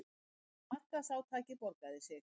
Markaðsátakið borgaði sig